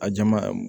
A jama